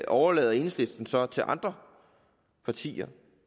overlader enhedslisten så til andre partier